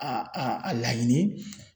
a laɲini.